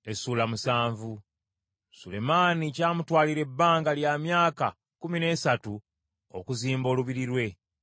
Sulemaani kyamutwalira ebbanga lya myaka kkumi n’esatu okuzimba olubiri lwe.